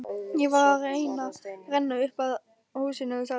Ég var að renna upp að húsinu sagði hún.